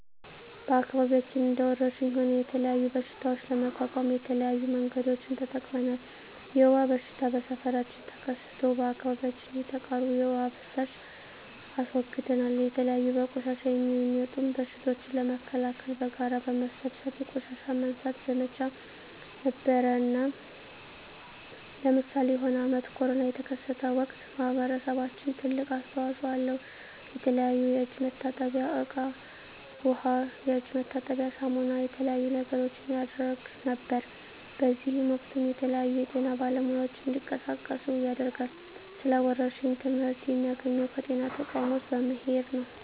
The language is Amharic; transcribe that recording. በአከባቢያችን እንደ ወረርሽኝ ሆነ የተለያዩ በሽታዎች ለመቋቋም የተለያዩ መንገዶችን ተጠቅመናል የወባ በሽታ በሠፈራችን ተከስቶ በአካባቢያችን የተቃሩ የዉሃ ፋሳሽ አስወግደናል የተለያዩ በቆሻሻ የሚጡም በሽቶችን ለመከላከል በጋራ በመሠብሰብ የቆሻሻ ማንሳት ዘመቻ ነበረነ ለምሳሌ የሆነ አመት ኮርና የተከሰተ ወቅት ማህበረሰባችን ትልቅ አስተዋጽኦ አለው የተለያዩ የእጅ መታጠብያ እቃ ዉሃ የእጅ መታጠቢያ ሳሙና የተለያዩ ነገሮችን ያረግ ነበር በእዚህም ወቅትም የተለያዩ የጤና ባለሙያዎች እንዲቀሳቀሱ ያደርጋል ስለ ወረርሽኝ ትመህርት የሚያገኘው ከጤና ተቋሞች በመሄድ ነው